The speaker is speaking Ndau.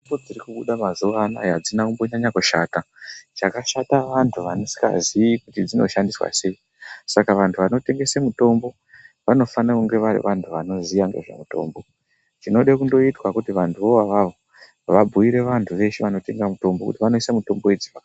Mitombo dziri kubuda mazuva anaya hadzina kunyanya kushata hadzidi antu asikazii kuti dzinoshandiswa sei. Saka vantu vanotengese mitombo vanofanira kunge vari vantu vanoziya ngezvemitombo. Chinode kundoitwa kuti vantu avavo vabhuire vantu veshe vanotenga mitombo vanoisa mitombo idzi pa.